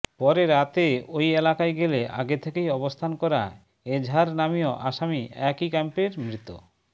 পরে রাতে ওই এলাকায় গেলে আগে থেকেই অবস্থান করা এজাহার নামীয় আসামি একই ক্যাম্পের মৃত